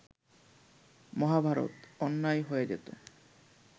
মহাভারত অন্যায় হয়ে যেতো